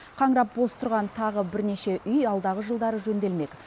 қаңырап бос тұрған тағы бірнеше үй алдағы жылдары жөнделмек